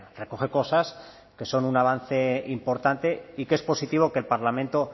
recoge cosas que son un avance importante y que es positivo que el parlamento